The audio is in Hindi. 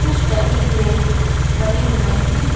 कुछ टेडी बीयर बने हुए हैं।